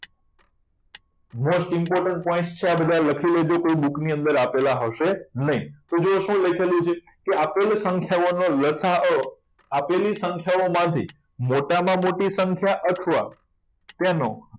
most important point છે આ બધા લખી લેજો book ની અંદર આપેલા હશે નહીં તો જુઓ શું લખેલું છે કે આપેલ સંખ્યાઓનો લસાઅ આપેલી સંખ્યાઓ માંથી મોટામાં મોટી સંખ્યા અથવા તેનો